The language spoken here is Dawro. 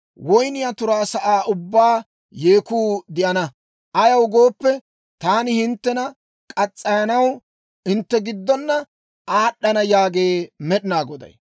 Woynniyaa turaa sa'aa ubbaan yeekku de'ana; ayaw gooppe, taani hinttena muranaw hintte giddona aad'ana» yaagee Med'inaa Goday.